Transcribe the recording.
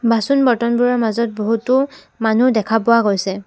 বাচন-বৰ্তনবোৰৰ মাজত বহুতো মানুহ দেখা পোৱা গৈছে।